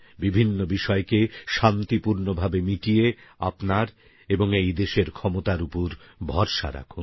বিভিন্ন বিষয়কে শান্তিপুর্ণভাবে মিটিয়ে আপনার এবং এইদেশের ক্ষমতার উপর ভরসা রাখুন